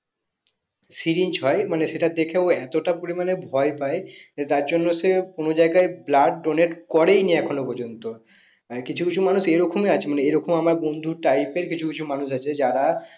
syring হয় সেটা দেখে ও এতটা পরিমানে ভয় পাই যে তার জন্য সে কোনো জায়গায় blood donate করেইনি এখনো প্রজন্ত আর কিছু কিছু মানুষ এরকম আছে মানে এরকম আমার বন্ধু type এর কিছু কিছু মানুষ আছে যারা